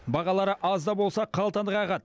бағалары аз да болса қалтаны қағады